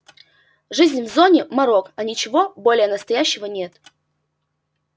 жизнь в зоне марок а ничего более настоящего нет